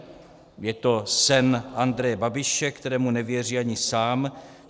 Je to sen Andreje Babiše, kterému nevěří ani sám.